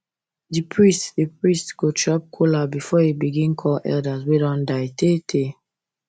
the priest the priest go chop kola before e begin call elders wey don die tey tey